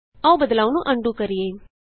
ਆਉ ਬਦਲਾਉ ਨੂੰ ਅਨਡੂ ਕਰੀਏ